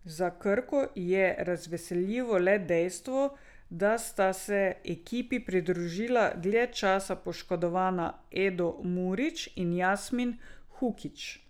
Za Krko je razveseljivo le dejstvo, da sta se ekipi pridružila dlje časa poškodovana Edo Murić in Jasmin Hukić.